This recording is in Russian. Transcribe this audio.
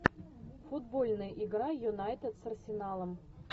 футбольная игра юнайтед с арсеналом